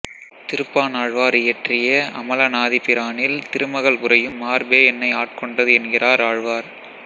திருப்பாணாழ்வார் இயற்றிய அமலனாதிபிரானில் திருமகள் உறையும் மார்பே என்னை ஆட்கொண்டது என்கிறார் ஆழ்வார்